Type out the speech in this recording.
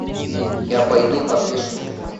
я пойду как бешеный конь